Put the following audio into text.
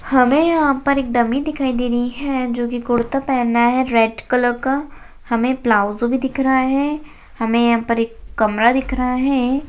हमें यहां पर एक डमी दिखाई दे रही है जो की कुर्ता पहना है रेड कलर का हमें प्लाजो भी दिख रहा है हमें यहां पर एक कमरा दिख रहा है।